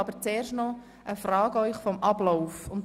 Wir sind bei Traktandum 23 angelangt.